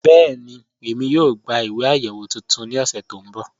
Bẹẹni, ẹ̀mí yóò gbà ìwé ayéwo tuntun ni ọ̀ṣẹ to nbọ́.